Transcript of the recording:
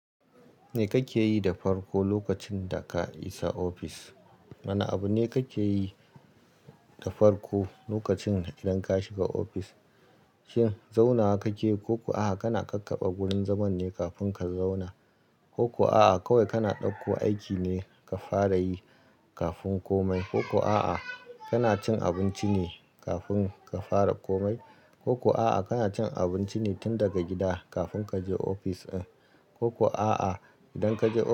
Me kake yi da farko lokacin da ka isa ofis? Wane abu ne kake yi da farko lokacin idan ka shiga ofis? Shin zaunawa kake ko kuwa a'a kana ƙaƙaba gurin zaman ne kafin ka zauna? Ko kuwa a'a kawai kana ɗauko aiki ne ka fara yi kafin komai? Ko kuwa a'a kana cin abinci ne kafin ka fara komai? Ko kuwa a'a kana cin abinci ne tun daga gida kafin ka je ofis in? Ko kuwa a'a idan ka je.